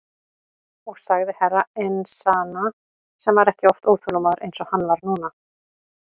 Og sagði Herra Enzana sem var ekki oft óþolinmóður eins og hann var núna.